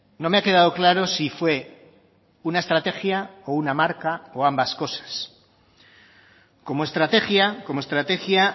no me ha quedado claro si fue una estrategia o una marca o ambas cosas como estrategia como estrategia